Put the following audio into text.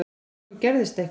Svo gerðist eitthvað.